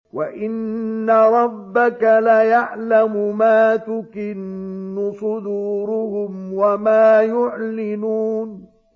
وَإِنَّ رَبَّكَ لَيَعْلَمُ مَا تُكِنُّ صُدُورُهُمْ وَمَا يُعْلِنُونَ